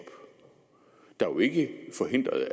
der jo ikke